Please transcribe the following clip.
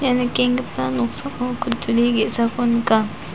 ia nikenggipa noksao kutturi ge·sako nika.